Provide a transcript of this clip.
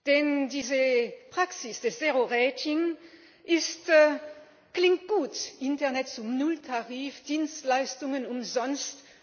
Denn diese Praxis des zero ratings ist das klingt gut Internet zum Nulltarif, Dienstleistungen umsonst.